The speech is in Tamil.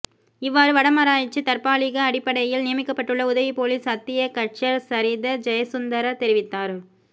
இவ்வாறு வடமராட்சிக்குத் தற்பாலிக அடிப்படையில் நியமிக்கப்பட்டுள்ள உதவி பொலிஸ் அத்தியகட்சர் சரித ஜயசுந்நதர தெரிவித்தார்